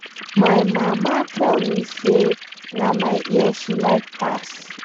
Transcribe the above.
My mama tell me say na my ear she like pass.